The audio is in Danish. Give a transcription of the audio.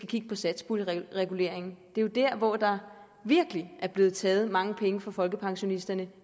kigge på satspuljereguleringen det er der hvor der virkelig er blevet taget mange penge fra folkepensionisterne